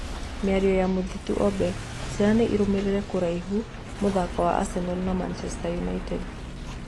Mĩario ya Mathuti Obil: Caina nĩ ĩrũmĩrĩire kũraihu mũthako wa Aseno na Maũndũ United.